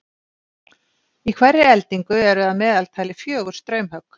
í hverri eldingu eru að meðaltali fjögur straumhögg